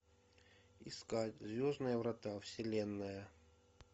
искать звездные врата вселенная